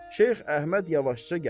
Şeyx Əhməd yavaşca gəlir.